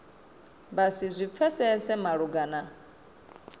vha si zwi pfesese malugana